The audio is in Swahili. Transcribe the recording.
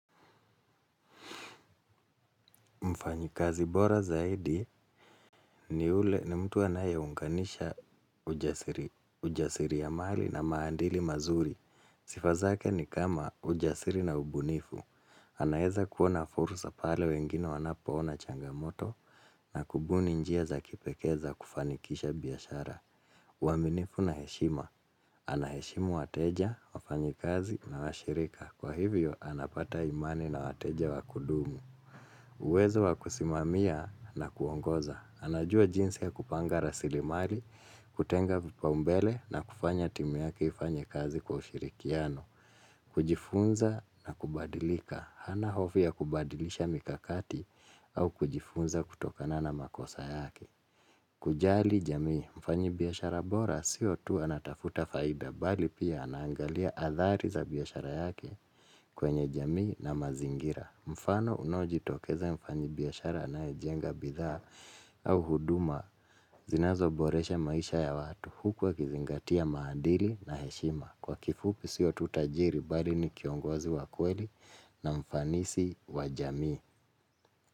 Mfanyikazi bora zaidi ni ule ni mtu wa anayeunganisha ujasiriamali na maadili mazuri. Sifa zake ni kama ujasiri na ubunifu. Anaeza kuona fursa pale wengine wanapoona changamoto na kubuni njia za kipekee za kufanikisha biashara. Waaminifu na heshima. Anaheshimu wateja, wafanyikazi na washirika. Kwa hivyo, anapata imani na wateja wa kudumu. Uwezo wa kusimamia na kuongoza, anajua jinsi ya kupanga raslimali, kutenga vipaumbele na kufanya timu yake ifanye kazi kwa ushirikiano, kujifunza na kubadilika, hana hofu ya kubadilisha mikakati au kujifunza kutokana na makosa yake. Kujali jamii mfanyi biashara bora sio tu anatafuta faida bali pia anaangalia athari za biashara yake kwenye jamii na mazingira. Mfano unaojitokeza mfanyi biashara anayejenga bidhaa au huduma zinazoboresha maisha ya watu huku akizingatia maadili na heshima. Kwa kifupi sio tu tajiri bali ni kiongozi wa kweli na mfanisi wa jamii.